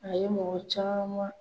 A ye mɔgɔ caman